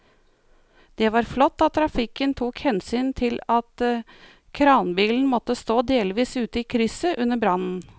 Det var flott at trafikken tok hensyn til at kranbilen måtte stå delvis ute i krysset under brannen.